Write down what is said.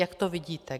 Jak to vidíte?